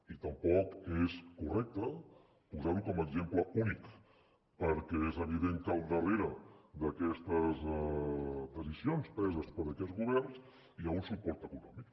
i tampoc és correcte posar ho com a exemple únic perquè és evident que al darrere d’aquestes decisions preses per aquests governs hi ha un suport econòmic